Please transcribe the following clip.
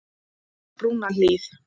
Brúnahlíð